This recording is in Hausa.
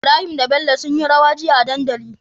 Ibrahim da bello sunyi rawa jiya a dandali